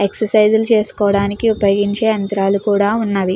ఎక్సర్సైజులు చేసుకోవడానికి ఉపయోగించే యంత్రాలు కూడా ఉన్నవి.